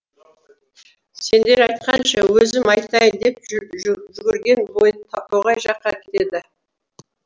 сендер айтқанша өзім айтайын деп жүгірген бойы тоғай жаққа кетеді